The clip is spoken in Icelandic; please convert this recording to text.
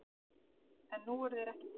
En nú eru þeir ekki til.